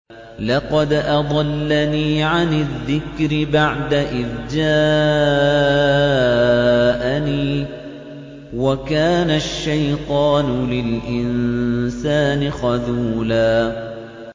لَّقَدْ أَضَلَّنِي عَنِ الذِّكْرِ بَعْدَ إِذْ جَاءَنِي ۗ وَكَانَ الشَّيْطَانُ لِلْإِنسَانِ خَذُولًا